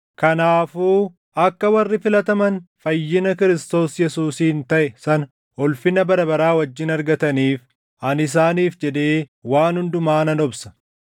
Kanaafuu akka warri filataman fayyina Kiristoos Yesuusiin taʼe sana ulfina bara baraa wajjin argataniif ani isaaniif jedhee waan hundumaa nan obsa.